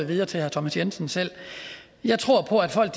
videre til herre thomas jensen selv jeg tror på at folk